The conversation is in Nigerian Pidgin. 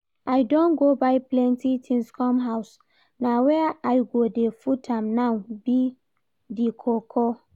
I don go buy plenty things come house, na where I go dey put am now be the koko